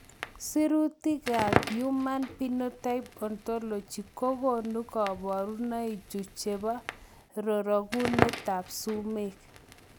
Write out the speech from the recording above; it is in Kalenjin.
Sirutikab Human Phenotype Ontology kokonu koborunoikchu chebo rorokunetab sumek.